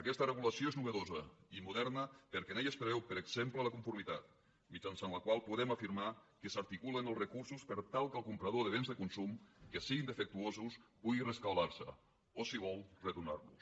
aquesta regulació és innovadora i moderna perquè en ella es preveu per exemple la conformitat mitjançant la qual podem afirmar que s’articulen els recursos per tal que el comprador de béns de consum que siguin defectuosos pugui rescabalar se o si vol retornar los